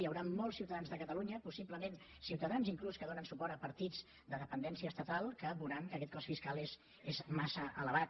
hi haurà molts ciutadans de catalunya possiblement ciutadans inclús que donen suport a partits de dependència estatal que veuran que aquest cost fiscal és massa elevat